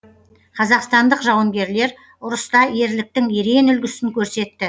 қазақстандық жауынгерлер ұрыста ерліктің ерен үлгісін көрсетті